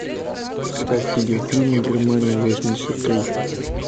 ставь видеофильм германия восемьдесят три